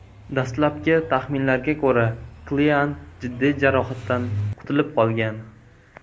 Dastlabki taxminlarga ko‘ra, Kilian jiddiy jarohatdan qutulib qolgan.